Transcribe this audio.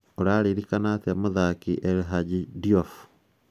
ũrarikana atĩa mũthaki El Hadji Diouf?